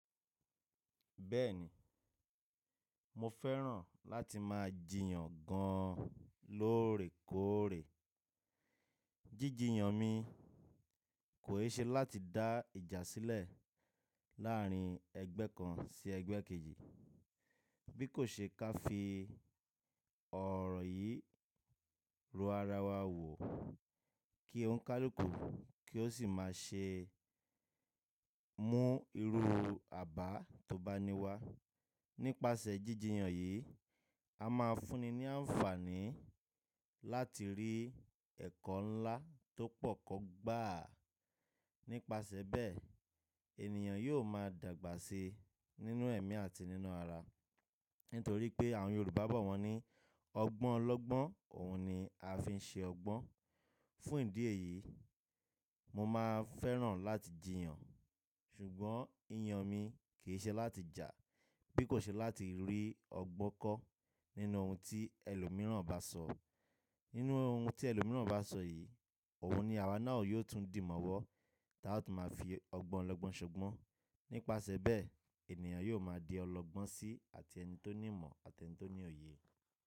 Bẹ́ẹ̀ni, mo fẹ́ràn láti máa jìyàn gan-an lóòrèkóòrè. Jíjìyàn mi kò ṣe láti dá ìjà sílẹ̀ láàrín ẹgbẹ́ kan sí ẹgbẹ́ kejì. Bí kò ṣe ká fi ọ̀rọ̀ yìí ro ara wa wò kí ó ń ká lọ́kùú kí ó sì máa ṣe mú irú àbá tó bá ní wa. Nípasẹ̀ jíjìyàn yìí, a máa fúnni ní àǹfààní láti rí ẹ̀kọ́ ńlá tó pọ̀ kọ́ gbá. Nípasẹ̀ bẹ́ẹ̀, ènìyàn yóò máa dàgbà síi nínú ẹ̀mí àti nínú ara. Nítorí pé àwọn Yorùbá bọ̀ wọ́n ní, “Ọgbọ́n lọ́gbọ́n òun ni a fi ń ṣe ọgbọ́n.” Fún ìdí èyí, mo máa fẹ́ràn láti jìyàn. Ṣùgbọ́n ìyàn mi kì í ṣe láti jà. Bí kò ṣe láti rí ọgbọ́n kọ́ nínú ohun tí ẹlòmíràn bá sọ. Nínú ohun tí ẹlòmíràn bá sọ yìí, òun ni àwa náà yóò tún dì mọ́wọ́, tí a ó tún máa fi ọgbọ́n lọ́gbọ́n ṣọgbọ́n. Nípasẹ̀ bẹ́ẹ̀, ènìyàn yóò máa di ọlọ́gbọ́n sí àti ẹni tó ní ìmọ̀ àti ẹni tó ní òye.